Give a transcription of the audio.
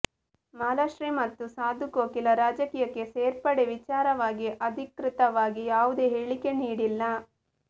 ಮಾಲಾಶ್ರೀ ಮತ್ತು ಸಾಧುಕೋಕಿಲ ರಾಜಕೀಯಕ್ಕೆ ಸೇರ್ಪಡೆ ವಿಚಾರವಾಗಿ ಅಧಿಕೃತವಾಗಿ ಯಾವುದೇ ಹೇಳಿಕೆ ನೀಡಿಲ್ಲ